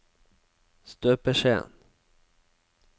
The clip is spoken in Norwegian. støpeskjeen